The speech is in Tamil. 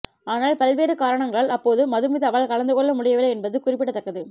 ஆனால் பல்வேறு காரணங்களால் அப்போது மதுமிதாவால் கலந்துகொள்ள முடியவில்லை என்பது குறிப்பிடத்தக்கது